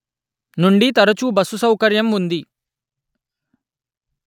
నుండి తరచు బస్సు సౌకర్యం ఉంది